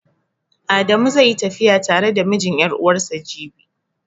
Adamu zai yi tafiya tare da mijin ƴar'uwarsa jibi.